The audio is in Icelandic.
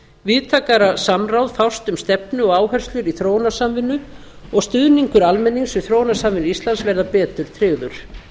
víðtækara samráð fást um stefnu og áherslur í þróunarsamvinnu og stuðningur almennings við þróunarsamvinnu íslands verða betur tryggður